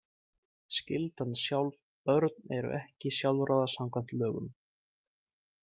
Skyldan sjálf Börn eru ekki sjálfráða, samkvæmt lögum.